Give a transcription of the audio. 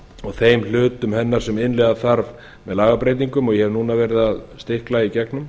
og þeim hlutum hennar sem innleiða þarf með lagabreytingum og ég hef núna verið að stikla í gegnum